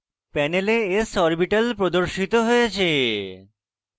panel s orbital প্রদর্শিত হয়েছে